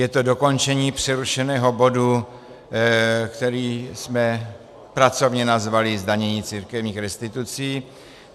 Je to dokončení přerušeného bodu, který jsme pracovně nazvali zdanění církevních restitucí.